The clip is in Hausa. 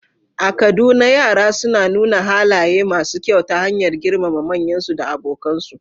A Kaduna, yara suna nuna halaye masu kyau ta hanyar girmama manyansu da abokansu